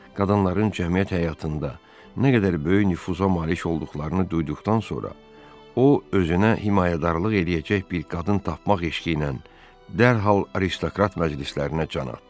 Qadınların cəmiyyət həyatında nə qədər böyük nüfuza malik olduqlarını duyduqdan sonra, o özünə himayədarlıq eləyəcək bir qadın tapmaq eşqiylə dərhal aristokrat məclislərinə can atdı.